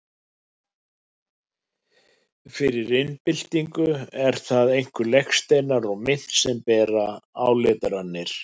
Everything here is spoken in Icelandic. Fyrir iðnbyltingu eru það einkum legsteinar og mynt sem bera áletranir.